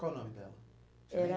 Qual o nome dela? Você lembra? Era